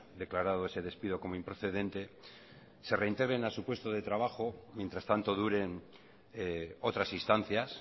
declarado ese despido como improcedente se reintegren a su puesto de trabajo mientras tanto duren otras instancias